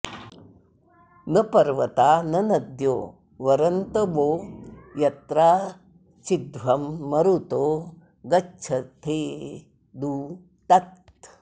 न पर्व॑ता॒ न न॒द्यो॑ वरन्त वो॒ यत्राचि॑ध्वं मरुतो॒ गच्छ॒थेदु॒ तत्